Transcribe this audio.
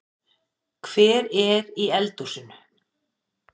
Hver er í eldhúsinu?